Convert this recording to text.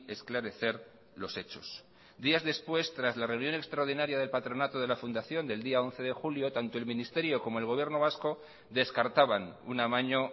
esclarecer los hechos días después tras la reunión extraordinaria del patronato de la fundación del día once de julio tanto el ministerio como el gobierno vasco descartaban un amaño